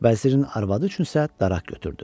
Vəzirin arvadı üçün isə daraq götürdü.